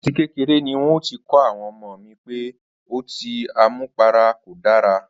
À ti kéreré ni n óò ti kó̩ àwo̩n o̩mó mi pé o̩tí àmupara kò dára